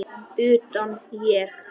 Utan, ég?